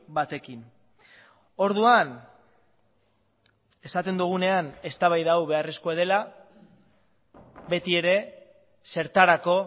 batekin orduan esaten dugunean eztabaida hau beharrezkoa dela beti ere zertarako